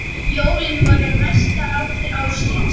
Jólin voru mesta hátíð ársins.